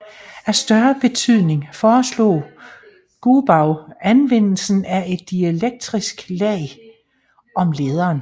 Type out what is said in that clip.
Af større betydning foreslog Goubau anvendelsen af et dielektrisk lag om lederen